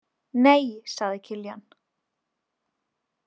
Nei, sagði Kiljan.